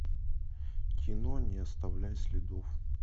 кино не оставляй следов